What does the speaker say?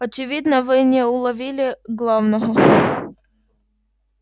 очевидно вы не уловили главного